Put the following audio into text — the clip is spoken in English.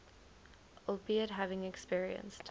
albeit having experienced